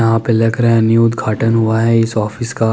यहा पे लग रहा है न्यू उप्घाटन हुआ है इस ऑफिस का --